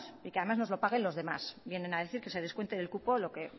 y que además nos los paguen los demás vienen a decir que se descuente del cupo lo que